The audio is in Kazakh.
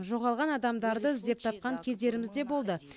жоғалған адамдарды іздеп тапқан кездеріміз де болды